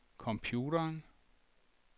computeren